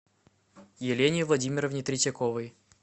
елене владимировне третьяковой